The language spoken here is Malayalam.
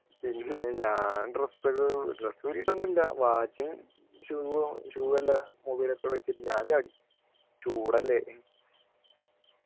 പിന്നെ ഞാൻ dress ഒക്കെ dress ഊരിട്ടൊന്നും ഇല്ല watch ഉം shoe ഉം shoe എല്ലാം mobile ഒക്കെ അവിടെ വച്ചിട്ട് ഞാൻ ചാടി ചൂടല്ലേ